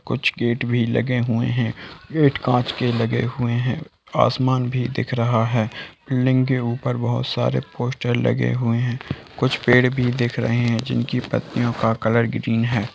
कुछ गेट भी लगे हुए हैं | गेट कांच के लगे हुए हैं | आसमान भी दिख रहा है | बिल्डिंग के ऊपर बहुत सारे पोस्टर लगे हुए हैं | कुछ पेड़ भी दिख रहे हैं जिनकी पत्तियों का कलर ग्रीन है।